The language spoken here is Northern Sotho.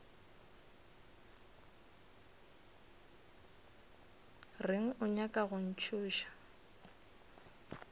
reng o nyaka go ntšhoša